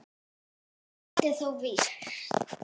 Eitt er þó víst.